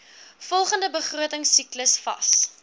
volgende begrotingsiklus vas